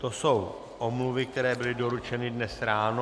To jsou omluvy, které byly doručeny dnes ráno.